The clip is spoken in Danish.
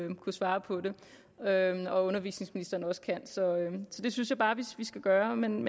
vil kunne svare på det og at undervisningsministeren også kan så det synes jeg bare vi skal gøre men